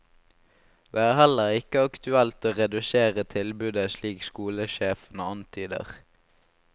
Det er heller ikke aktuelt å redusere tilbudet slik skolesjefen antyder.